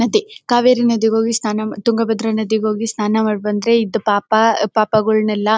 ನದಿ ಕಾವೇರಿ ನದಿಗೆ ಹೋಗಿ ಸ್ನಾನ ಮ ತುಂಗಾಭದ್ರ ನದಿಗೆ ಹೋಗಿ ಸ್ನಾನ ಮಾಡಿಬಂದ್ರೆ ಇದ್ದ ಪಾಪ ಪಾಪಗಳನೆಲ್ಲ--